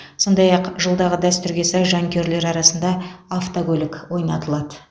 сондай ақ жылдағы дәстүрге сай жанкүйерлер арасында автокөлік ойнатылады